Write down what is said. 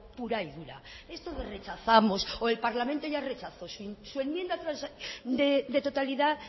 pura y dura esto de rechazamos o el parlamento ya rechazó su enmienda de totalidad